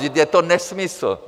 Vždyť je to nesmysl.